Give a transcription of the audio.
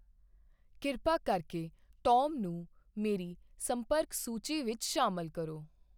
ਕਿਰਪਾ ਕਰਕੇ ਟੌਮ ਨੂੰ ਮੇਰੀ ਸੰਪਰਕ ਸੂਚੀ ਵਿੱਚ ਸ਼ਾਮਲ ਕਰੋ